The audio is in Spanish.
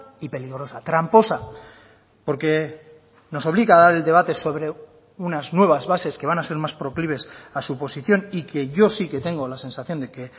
y peligrosa tramposa porque nos obliga a dar el debate sobre unas nuevas bases que van a ser más proclives a su posición y que yo sí que tengo la sensación de que